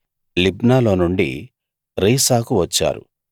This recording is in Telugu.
లిబ్నాలో నుండి రీసాకు వచ్చారు